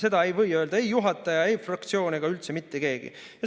Seda ei või öelda ei juhataja, ei fraktsioon ega üldse mitte keegi.